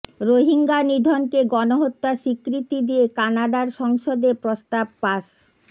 রোহিঙ্গা নিধনকে গণহত্যা স্বীকৃতি দিয়ে কানাডার সংসদে প্রস্তাব পাস